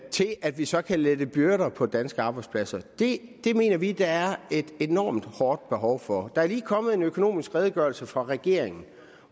til at vi så kan lette byrder på de danske arbejdspladser det mener vi at der er et enormt stort behov for der er lige kommet en økonomisk redegørelse fra regeringen